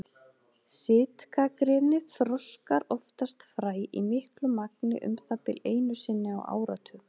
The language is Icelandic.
Sitkagreni þroskar oftast fræ, í miklu magni um það bil einu sinni á áratug.